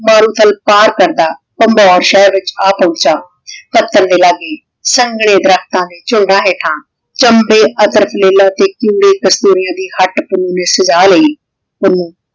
ਬਰੋ ਥਲ ਤਾਰ ਪੈਂਦਾ ਕਨ੍ਦੌਰ ਸ਼ੇਹਰ ਵਿਚ ਆ ਪੋਹ੍ਨ੍ਚਾ ਸੰਗ੍ਨਾਯ ਦਰਖਤਾਂ ਦੇ ਝੁੰਡਾਂ ਹੇਠਾਂ ਚੰਬੇ ਅਤ੍ਰਕ ਲੀਲਾ ਤੇ ਕਿਨ੍ਡੇ ਕਾਸ੍ਤੂਰਿਯਾਂ ਦੀ ਹਟ ਪੁੰਨੁ ਨੇ ਸਜਾ ਲੈ ਪੁੰਨੁ